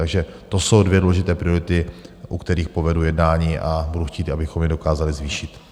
Takže to jsou dvě důležité priority, u kterých povedu jednání a budu chtít, abychom ji dokázali zvýšit.